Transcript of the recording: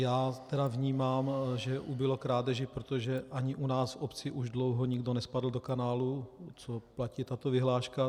Já tedy vnímám, že ubylo krádeží, protože ani u nás v obci už dlouho nikdo nespadl do kanálu, co platí tato vyhláška.